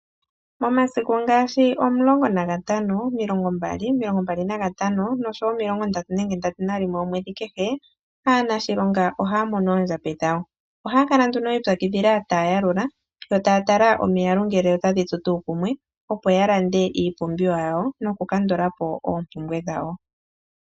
Momasiku ngaashi 15,20,25,30,nenge 31aanashilonga ohaya mono oondjambi dhawo. Oha yakala nduno yiipyakidhila taya yalula yo taya tala omiyalu ngele otadhi tsu tuu kumwe opo ya lande iipumbiwa yawo noku kandulapo oompumbwe dhawo.